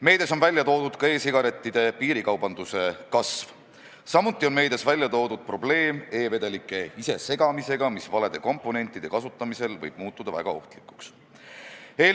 Meedias on viidatud ka e-sigarettide piirikaubanduse kasvule, samuti on meedias välja toodud probleem e-vedelike ise segamisega, mis valede komponentide kasutamisel või osutuda väga ohtlikuks.